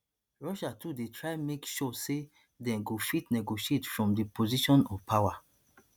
russia too dey try make sure say dem go fit negotiate from di position of power